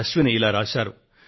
అశ్విని గారు ఇలా రాశారు